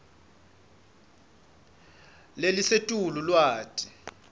lelisetulu lwati